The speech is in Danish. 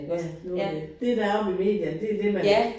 Ja nu det. Det der er jo med medierne det det man